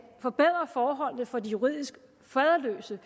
forbedre forholdene for de juridisk faderløse